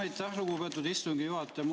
Aitäh, lugupeetud istungi juhataja!